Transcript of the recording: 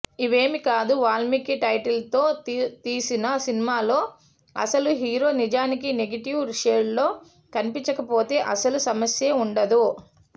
ఇవేమీ కాదు వాల్మీకి టైటిల్తో తీసిన సినిమాలో అసలు హీరో నిజానికి నెగెటివ్ షేడ్లో కనిపించకపోతే అసలు సమస్యే ఉండదు